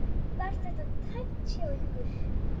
Var þetta tæpt hjá ykkur?